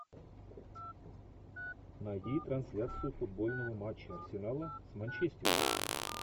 найди трансляцию футбольного матча арсенала с манчестером